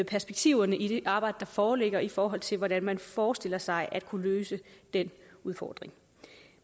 perspektiverne i det arbejde der foreligger i forhold til hvordan man forestiller sig at kunne løse den udfordring